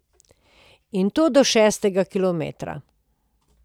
In to do šestega kilometra.